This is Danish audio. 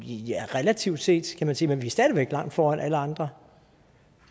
ja relativt set kan man sige men vi er stadig væk langt foran alle andre